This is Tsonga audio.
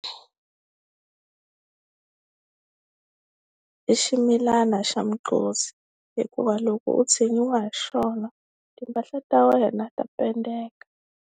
I ximilana xa hikuva loko u tshinyiwa hi xona timpahla ta wena ta pendeka.